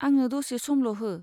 आंनो दसे समल' हो।